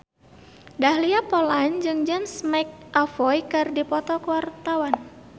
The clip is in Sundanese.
Dahlia Poland jeung James McAvoy keur dipoto ku wartawan